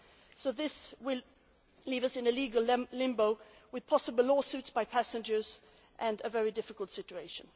So this would leave us in legal limbo, with potential lawsuits by passengers and a very difficult situation.